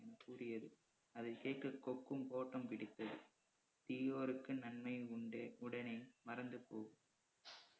என்று கூறியது அதைக்கேட்டு கொக்கும் ஓட்டம் பிடித்தது தீயோருக்கும் நன்மை உண்டு உடனே பறந்து போ